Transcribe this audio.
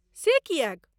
से किएक?